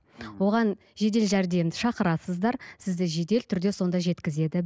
оған жедел жәрдемді шақырасыздар сізді жедел түрде сонда жеткізеді